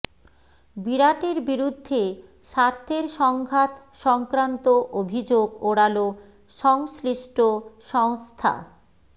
বিরাটের বিরুদ্ধে স্বার্থের সংঘাত সংক্রান্ত অভিযোগ ওড়ালো সংশ্লিষ্ট সংস্থা